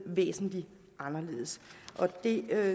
væsentlig anderledes det